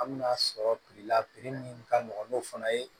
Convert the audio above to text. An bɛna sɔrɔ la min ka nɔgɔ n'o fana ye